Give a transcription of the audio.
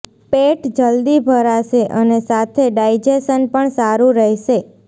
પેટ જલ્દી ભરાશે અને સાથે ડાઈજેશન પણ સારું રહેશે